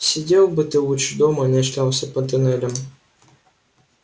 сидел бы ты лучше дома а не шлялся по туннелям